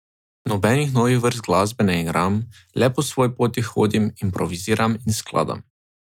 Nobenih novih vrst glasbe ne igram, le po svoji poti hodim, improviziram in skladam.